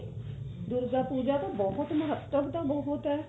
ਦੁਰਗਾ ਪੂਜਾ ਦਾ ਬਹੁਤ ਮਹੱਤਵ ਤਾਂ ਬਹੁਤ ਏ